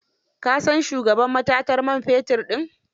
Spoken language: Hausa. Ka san shugaban matatar man fetin din?